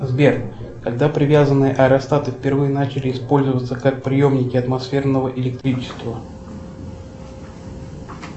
сбер когда привязанные аэростаты впервые начали использоваться как приемники атмосферного электричества